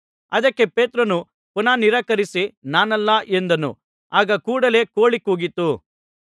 ಅದಕ್ಕೆ ಪೇತ್ರನು ಪುನಃ ನಿರಾಕರಿಸಿ ನಾನಲ್ಲ ಎಂದನು ಆಗ ಕೂಡಲೇ ಕೋಳಿ ಕೂಗಿತು